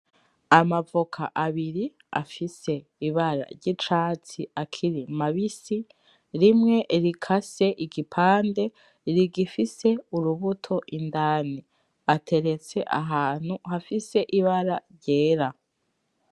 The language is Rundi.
Amavoka abiri afise ibara ry’icatsi akiri mabisi rimwe rikase igipande rigifise urubuto indani ateretse ahantu hafise ibara ryera.